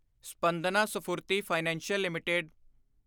Spandana Sphoorty financial LTD